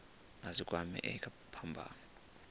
a si kwamee kha phambano